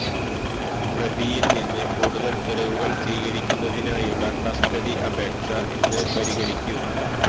പ്രതിയില് നിന്ന് കൂടുതല് തെളിവുകള് സ്വീകരിക്കുന്നതിനായുള്ള കസ്റ്റഡി അപേക്ഷ ഇന്ന് പരിഗണിക്കും